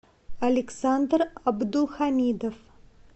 александр абдухамидов